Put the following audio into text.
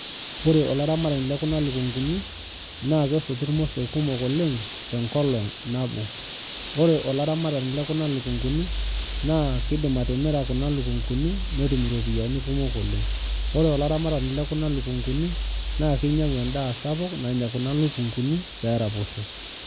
Ore olaramatani lekuna lukunguni na kesotu irmosor kumok oleng tenkolong nabo ore olaramatani lekuna lukunguni na kidim atimira kuna lukunguni netum iropiyiani kumok oleng, ore olaramatani lekuna lukunguni na kinyangu endaa sapuk nanya kuna lukunguni peraposho